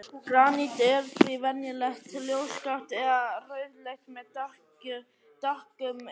Granít er því venjulega ljósgrátt eða rauðleitt með dökkum yrjum.